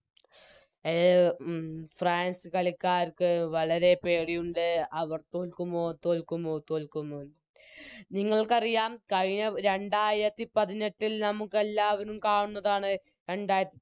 അഹ് France കളിക്കാർക്ക് വളരെ പേടിയുണ്ട് അവർ തോൽക്കുമോ തോൽക്കുമോ തോൽക്കുമോന്ന് നിങ്ങൾക്കറിയാം കഴിഞ്ഞ രണ്ടായിരത്തിപതിനെട്ടിൽ നമുക്കെല്ലാവരും കാണുന്നതാണ് രണ്ടാര